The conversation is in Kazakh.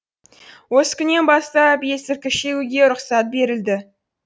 осы күннен бастап есірткі шегуге рұқсат берілді